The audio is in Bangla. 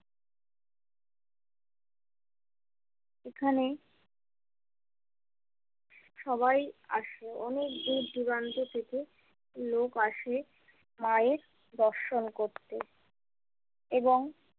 এখানে সবাই আসে অনেক দূর দুরান্ত থেকে লোক আসে মায়ের দর্শন করতে এবং।